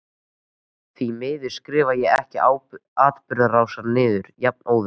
Því miður skrifaði ég ekki atburðarásina niður jafnóðum.